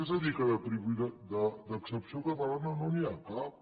és a dir que d’excepció catalana no n’hi ha cap